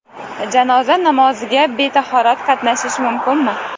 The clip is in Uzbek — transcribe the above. Janoza namoziga betahorat qatnashish mumkinmi?.